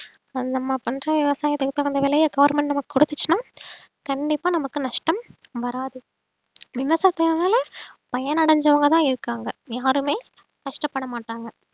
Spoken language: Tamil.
நம்ம பண்ற விவசாயத்துக்கு தகுந்த விலையை government நமக்கு குடுத்துச்சுன்னா கண்டிப்பா நமக்கு நஷ்டம் வராது விவசாயத்துனால பயனடைஞ்சவங்கதான் இருக்காங்க யாருமே நஷ்டப்பட மாட்டாங்க